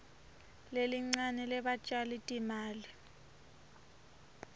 lelincane lebatjali timali